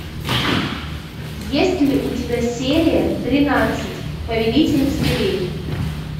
есть ли у тебя серия тринадцать повелитель зверей